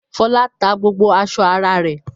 Fọlá tá gbogbo aṣọ ara rẹ̀?